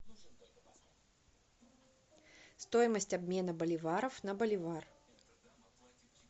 стоимость обмена боливаров на боливар